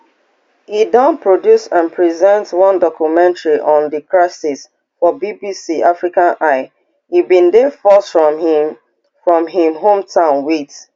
e don produce and present one documentary on di crisis for bbc africa eye e bin dey forced from im from im hometown wit